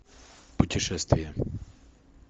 путешествия